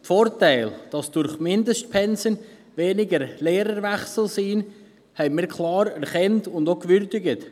Die Vorteile, dass es durch Mindestpensen weniger Lehrerwechsel gibt, haben wir klar erkannt und auch gewürdigt.